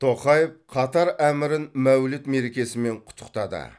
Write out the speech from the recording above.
тоқаев қатар әмірін мәуліт мерекесімен құттықтады